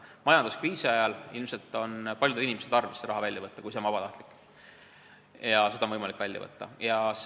Majanduskriisi ajal on ilmselt paljudel inimestel tarvis see välja võtta, kui hoius on vabatahtlik ja raha on võimalik välja võtta.